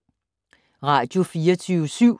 Radio24syv